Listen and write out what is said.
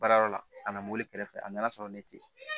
Baarayɔrɔ la a nana mobili kɛrɛfɛ a nana sɔrɔ ne tɛ